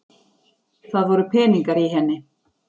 Það voru peningar í henni!